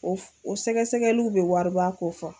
O o sɛgɛsɛgɛliw bɛ wariba ko fɔ.